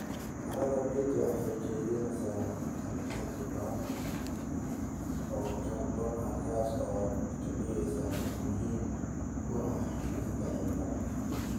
Carrada peat waxay kaydisaa xaddi badan oo kaarboon ah, taasoo ka dhigaysa mid muhiim u ah xakamaynta cimilada.